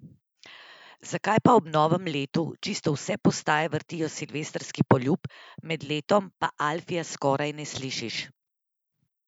Zakaj pa ob novem letu čisto vse postaje vrtijo Silvestrski poljub, med letom pa Alfija skoraj ne slišiš?